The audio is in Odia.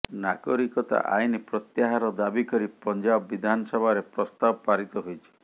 ନାଗରିକତା ଆଇନ ପ୍ରତ୍ୟାହାର ଦାବି କରି ପଞ୍ଜାବ ବିଧାନସଭାରେ ପ୍ରସ୍ତାବ ପାରିତ ହୋଇଛି